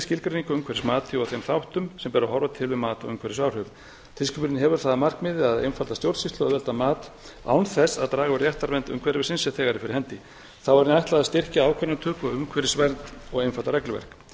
skilgreiningu umhverfismati og þeim þáttum sem ber að horfa til um mat á umhverfisáhrifum tilskipunin hefur það að markmiði að einfalda stjórnsýslu auðvelda mat án þess að draga úr réttarvernd umhverfisins sem þegar er fyrir hendi þá er henni ætlað að styrkja ákvarðanatöku umhverfisvernd og einfalda regluverk